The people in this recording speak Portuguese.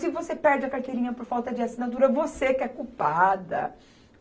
Se você perde a carteirinha por falta de assinatura, você que é culpada.